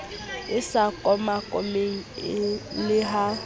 e sa komakomeng le ha